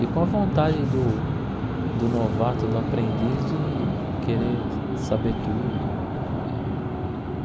E com a vontade do do novato, do aprendiz, de querer saber tudo e.